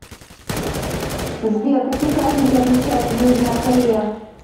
сбер какие праздники отмечают в южная корея